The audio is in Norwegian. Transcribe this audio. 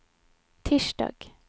tirsdag